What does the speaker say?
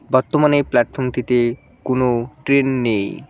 বর্তমানে এই প্ল্যাটফর্মটিতে কোনো ট্রেন নেই।